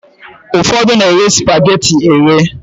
Ụfọdụ na-eghe spageti eghe.